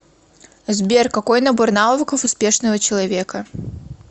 сбер какой набор навыков успешного человека